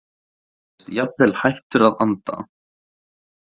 Hann virðist jafnvel hættur að anda.